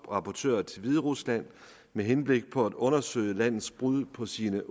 rapportører til hviderusland med henblik på at undersøge landets brud på sine